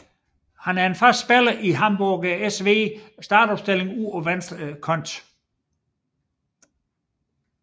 Han er en fast spiller i Hamburger SV startopstilling ude på venstre kanten